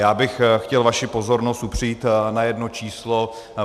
Já bych chtěl vaši pozornost upřít na jedno číslo.